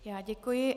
Já děkuji.